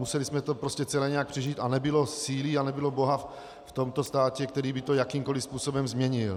Museli jsme to celé nějak přežít a nebylo síly a nebylo boha v tomto státě, který by to jakýmkoliv způsobem změnil.